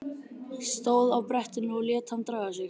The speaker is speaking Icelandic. Stóð á brettinu og lét hann draga sig.